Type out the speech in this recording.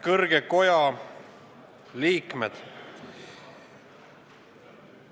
Kõrge koja liikmed!